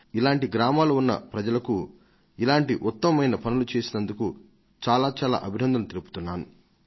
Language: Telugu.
అటువంటి గ్రామాల నివాసులకు వారు చేస్తున్న మంచి పనికి గాను నేను వారికి నా హృదయపూర్వకమైన అభినందనలను తెలియజేస్తున్నాను